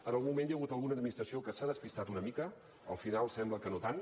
en algun moment hi ha hagut alguna administració que s’ha despistat una mica al final sembla que no tant